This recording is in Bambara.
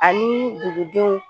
Ani dugudenw